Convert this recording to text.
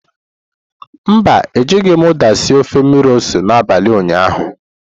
Mba, Ejighị m uda sie ofe mmiri ose n'abalị ụnyaahụ.